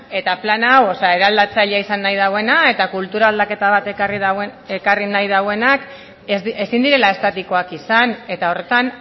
eta plan hau eraldatzailea izan nahi dauena eta kultura aldaketa bat ekarri nahi dauenak ezin direla estatikoak izan eta horretan